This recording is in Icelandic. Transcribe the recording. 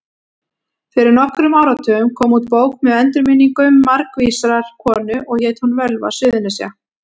Fyrir nokkrum áratugum kom út bók með endurminningum margvísrar konu og hét hún Völva Suðurnesja.